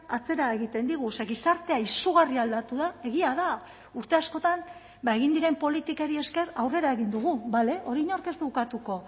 atzera egiten digu ze gizartea izugarri aldatu da egia da urte askotan egin diren politikari esker aurrera egin dugu bale hori inork ez du ukatuko